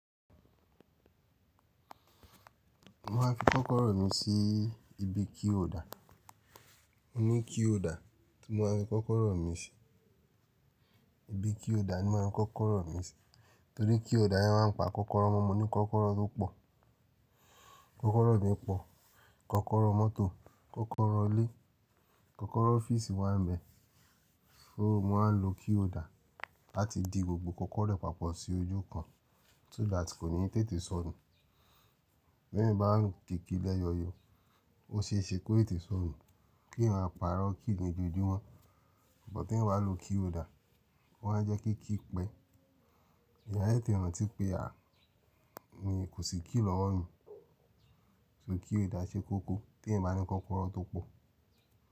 Mo máa ń fi kọ́kọ́rọ́ mi sí ibi keyholder. Mo ní keyholder, tí mo máa ń fi kọ́kọ́rọ́ mi sí ibi keyholder ni mo máa ń fi kọ́kọ́rọ́ mi sí, torí keyholder yẹn máa ń pa kọ́kọ́rọ́ mọ́. Mo ní kọ́kọ́rọ́ tó pọ̀, kọ́kọ́rọ́ mi pọ̀, kọ́kọ́rọ́ mọ́tò, kọ́kọ́rọ́ ilé, kọ́kọ́rọ́ ọ́fíìsì wà ń bẹ. So mo wáa ń lo keyholder láti di gbogbo kọ́kọ́rọ́ papọ̀ sí ojú kan so that kò ní tètè sọnù. Bí èyàn báa ń di kiri lẹ́yọyo, ó ṣe é ṣe kó tètè sọnù kí èyàn máa pàrọ̀ kí nì ojòjúmọ́. But tí èyàn bá lo keyholder, ó máa ń jẹ́ kí key pẹ́. Ẹ̀yàn a te te rántí pé à mi kò sì key lọ́wọ́ mi, so keyholder ṣe kókó tí ẹ̀yàn bá ní kọ́kọ́rọ́ tó pọ̀.